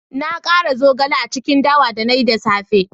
Na kara zogale a cikin dawa da na yi da safe